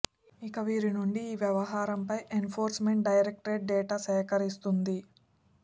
ఇక వీరి నుండి ఈ వ్యవహారంపై enforcement directorate data సేకరిస్తోంది